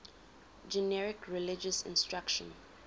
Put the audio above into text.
generic religious instruction